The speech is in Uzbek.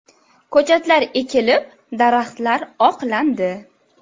Ko‘chatlar ekilib, daraxtlar oqlandi.